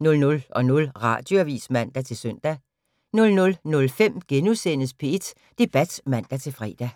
00:00: Radioavis (man-søn) 00:05: P1 Debat *(man-fre)